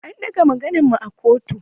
An ɗaga maganan mu a kotu.